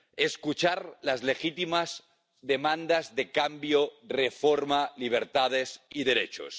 Escuchar las legítimas demandas de cambio, reforma, libertades y derechos.